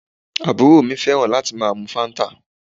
Àbúrò mi fẹ́ràn láti máa mu Fanta